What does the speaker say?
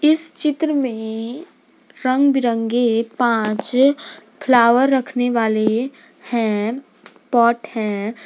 इस चित्र में रंग बिरंगे पांच फ्लावर रखने वाले हैं पॉट है।